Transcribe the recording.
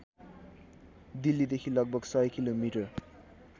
दिल्लीदेखि लगभग १०० किलोमिटर